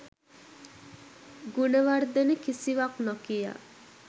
ගුණවර්ධන කිසිවක් නොකියා